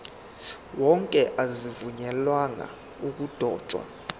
wonke azivunyelwanga ukudotshwa